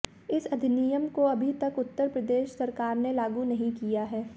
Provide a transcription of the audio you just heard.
इस अधिनियम को अभी तक उत्तर प्रदेश सरकार ने लागू नहीं किया है